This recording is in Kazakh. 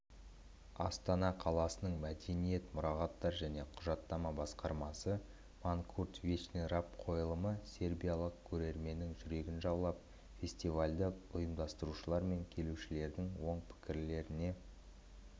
астана қаласының мәдениет мұрағаттар және құжаттама басқармасы манкурт вечный раб қойылымы сербиялық көрерменнің жүрегін жаулап фестивальді ұйымдастырушылар мен келушілердің оң пікірлеріне